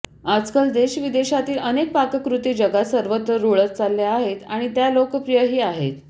आजकाल देशविदेशातील अनेक पाककृती जगात सर्वत्र रूळत चालल्या आहेत आणि त्या लोकप्रियही आहेत